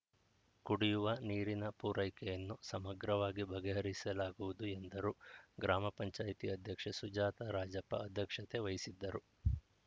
ಕುಡಿಯುವ ನೀರಿನ ಪೂರೈಕೆಯನ್ನು ಸಮಗ್ರವಾಗಿ ಬಗೆಹರಿಸಲಾಗುವುದು ಎಂದರು ಗ್ರಾಮ ಪಂಚಾಯಿತಿ ಅಧ್ಯಕ್ಷೆ ಸುಜಾತ ರಾಜಪ್ಪ ಅಧ್ಯಕ್ಷತೆ ವಹಿಸಿದ್ದರು